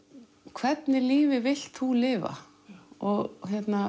hvernig lífi vilt þú lifa og